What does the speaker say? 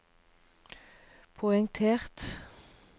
poengtert